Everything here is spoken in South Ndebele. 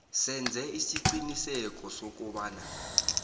senze isiqiniseko sokobana